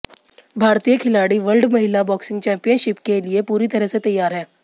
भारतीय खिलाड़ी वर्ल्ड महिला बॉक्सिंग चैम्पियनशिप के लिए पूरी तरह से तैयार हैं